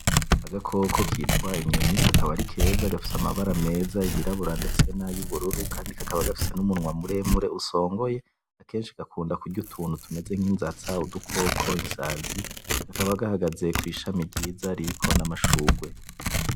Agakoko kitwa inyoni kakaba ari keza gafise amabara meza yirabura ndetse nayubururu kandi kakaba gafise umunwa muremure usongoye akeshi gakunda kurya utuntu tumeze nkinzatsa, udukoko, isazi kakaba gahagaze kwishami ryiza ririko na mashurwe